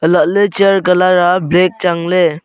alahley chair colour a black changle.